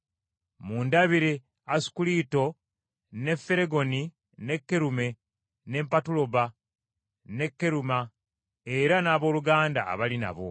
Mundabire Asunkulito ne Felegoni, ne Kerume, ne Patuloba, ne Keruma era n’abooluganda abali nabo.